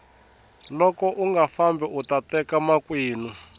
loko unga fambi uta teka makwenu